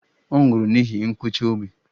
Ọ nwụrụ n'ihi nkụchi obi.